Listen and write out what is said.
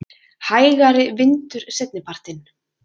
Hægari vindur seinnipartinn